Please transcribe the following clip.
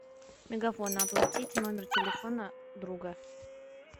мегафон оплатит номер телефона друга